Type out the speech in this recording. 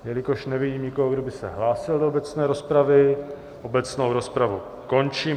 Jelikož nevidím nikoho, kdo by se hlásil do obecné rozpravy, obecnou rozpravu končím.